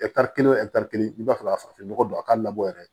kelen wo kelen i b'a fɛ ka farafin nɔgɔ don a ka labɔ yɛrɛ